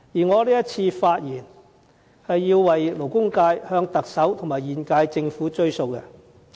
我這次發言，是要為勞工界向特首及現屆政府"追數"。